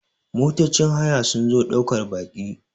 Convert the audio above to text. motocin haya sun zo daukar Baki